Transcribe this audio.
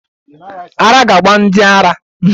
Ara ga-agba ndi ala